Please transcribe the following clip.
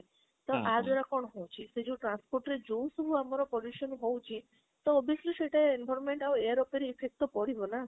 ତ ଆଦ୍ୱାରା କଣ ହଉଛି ସେଇ transport ରେ ଯୋଉ ସବୁ ଆମ pollution ହଉଛି ତ obviously ସେଟା environment ଆଉ air ଉପରେ effect ତ ପଡିବ ନା